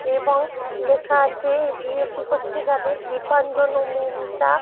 এবং লেখা আছে বিয়েটি হচ্ছে যাদের দীপাঞ্জন ও মৌমিতা --